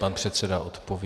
Pan předseda odpoví.